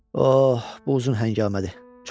Oh, bu uzun həngamədir, çox.